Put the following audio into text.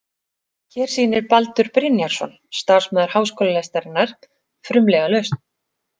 Hér sýnir Baldur Brynjarsson, starfsmaður Háskólalestarinnar, frumlega lausn.